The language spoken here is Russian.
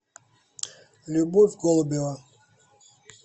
любовь голубева